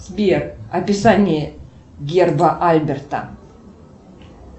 сбер описание герба альберта